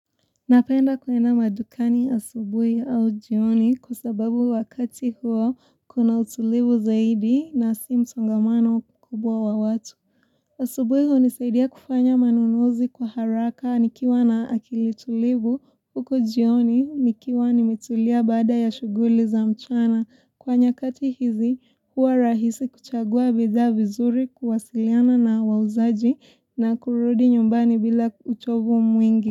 Napenda kuenda madukani asubuibau jioni kwa sababu wakati huo kuna utulivu zaidi na si msangomano kubwa wa watu. Asubuhi hunisaidia kufanya manunuzi kwa haraka nikiwa na akili tulivu huku jioni nikiwa nimetulia baada ya shughuli za mchana. Kwa nyakati hizi hua rahisi kuchagua bidhaa vizuri kuwasiliana na wauzaji na kurudi nyumbani bila uchovu mwingi.